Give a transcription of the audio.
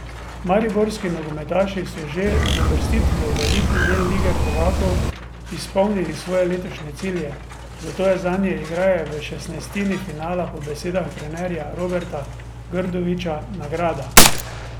Mariborski nogometaši so že z uvrstitvijo v elitni del Lige prvakov izpolnili svoje letošnje cilje, zato je zanje igranje v šestnajstini finala po besedah trenerja Roberta Grdovića nagrada.